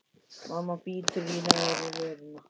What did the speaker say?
Mamma bítur í neðri vörina.